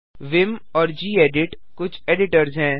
Vim और gedit कुछ editors हैं